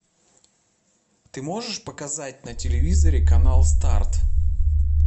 ты можешь показать на телевизоре канал старт